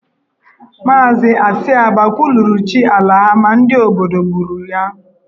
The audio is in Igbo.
Maazị Esiaba kwuluru chi ala ha ma ndị obodo gburu ya.